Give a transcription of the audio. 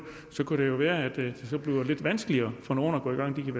så kunne det jo være at det bliver lidt vanskeligere for nogle at gå i gang de kan